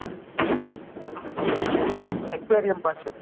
aquarium પાસે